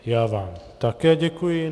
Já vám také děkuji.